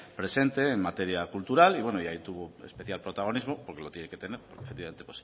presente en materia cultural y ahí tuvo un especial protagonismo porque lo tiene que tener efectivamente